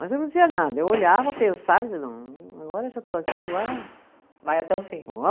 Mas eu não dizia nada, eu olhava, pensava, agora já estou aqui, agora. Vai até o fim.